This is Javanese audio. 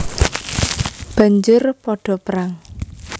Banjur padha perang